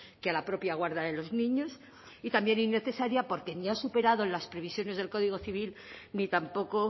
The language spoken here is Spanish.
que a la propia guarda de los niños y también innecesaria porque ni ha superado las previsiones del código civil ni tampoco